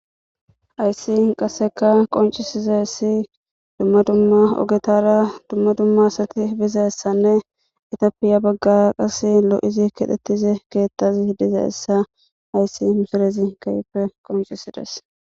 Haysi qaseka qoncisizaysi duma duma ogetara dumma dumma asati bizaysanne itophiya baga qase lo'idi kexetizaysi ketazi dizaysa haysi misilezi qoncisides